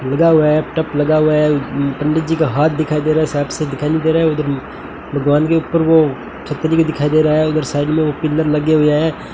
लगा हुआ है टप लगा हुआ है पंडित जी का हाथ दिखाई दे रहा है साफ साफ दिखाई नहीं दे रहा है उधर भगवान के ऊपर वो छतरी के दिखाई दे रहा है उधर साइड में वो पिलर लगे हुए हैं।